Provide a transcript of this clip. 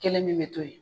Kelen min bɛ to yen